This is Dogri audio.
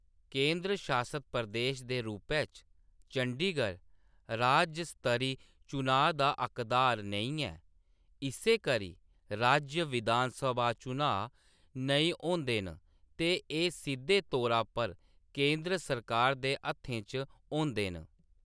केंदर शासत प्रदेश दे रूपै च चंडीगढ़ राज्ज स्तरी चनांऽ दा हकदार नेईं ऐ। इस्सै करी राज्य विधानसभा चनांऽ नेईं होंदे न ते एह्‌‌ सिद्‌धे तौरा पर केंदर सरकार दे हत्थें च होंदे न।